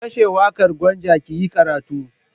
Ki kashe waƙar Gwanja ki yi karatu!